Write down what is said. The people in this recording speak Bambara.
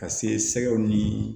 Ka se sɛgɛw ni